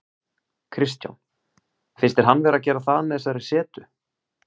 Kristján: Finnst þér hann vera að gera það með þessari setu?